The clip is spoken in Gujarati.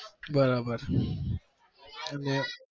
બરાબર